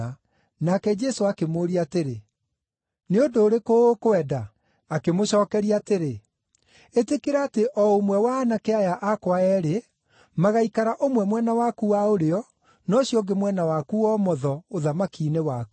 Nake Jesũ akĩmũũria atĩrĩ, “Nĩ ũndũ ũrĩkũ ũkwenda?” Akĩmũcookeria atĩrĩ, “Ĩtĩkĩra atĩ ũmwe wa aanake aya akwa eerĩ magaikara ũmwe mwena waku wa ũrĩo, na ũcio ũngĩ mwena waku wa ũmotho ũthamaki-inĩ waku.”